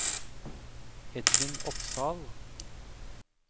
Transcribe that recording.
Edvin Opsahl